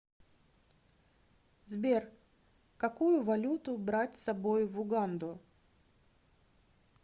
сбер какую валюту брать с собой в уганду